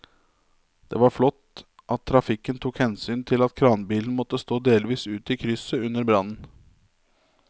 Det var flott at trafikken tok hensyn til at kranbilen måtte stå delvis ute i krysset under brannen.